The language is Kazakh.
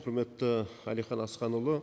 құрметті әлихан асханұлы